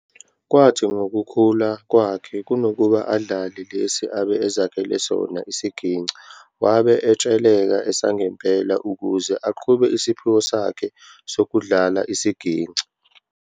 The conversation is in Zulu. Kwathi ngokukhula kwakhe kunokuba adlale lesi abe ezakhele sona isigingci wabe estsheleka esangempela ukuze aqhube isiphiwo sakhe sokudlala isigingci